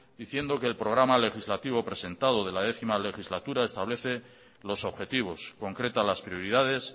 diciendo que el programa legislativo presentado de la décimo legislatura establece los objetivos concreta las prioridades